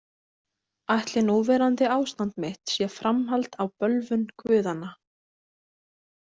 Ætli núverandi ástand mitt sé framhald á bölvun guðanna?